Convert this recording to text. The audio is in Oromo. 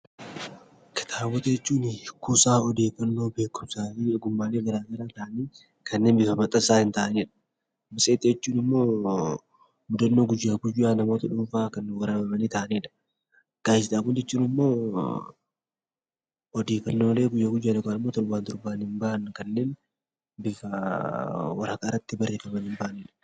Kitaabota jechuun gosa odeeffannoo, beekumsaa fi ogummaa ta'anii kanneen bifa maxxansaa hin taanedha. Matseetii jechuun immoo mudannoo guyyaa guyyaa namoota dhuunfaa kan waraabamani ta'anidha. Gaazexaawwan jechuun ammoo odeeffannoolee guyyaa guyyaan yookaan immoo torbee torbaniin bahan kanneen bifa waraqaa irratti barreeffamanii bahanidha.